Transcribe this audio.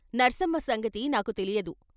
నర్సమ్మ సంగతి నాకు తెలియదు.